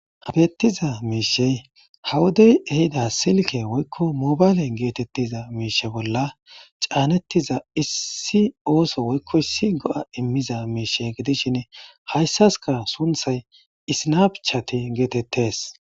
Habettiza miishey hawodey ehida silke woykko mobaylen geetettiza miishe bolla caanettiza issi ooso woykko issi go7a immiza miishe gidishinn hayssaska sunthay isnapchati geetettes.